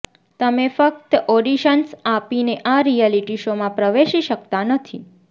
તમે ફક્ત ઓડિશન્સ આપીને આ રિયાલિટી શોમાં પ્રવેશી શકતા નથી